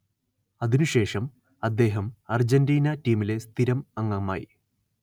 അതിനുശേഷം അദ്ദേഹം അർജന്റീന ടീമിലെ സ്ഥിരം അംഗമായി